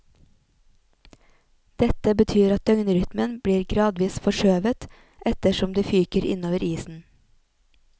Dette betyr at døgnrytmen blir gradvis forskjøvet etter som de fyker innover isen.